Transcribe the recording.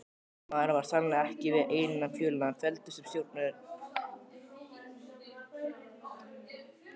Maðurinn var sannarlega ekki við eina fjölina felldur sem stjórnarerindreki!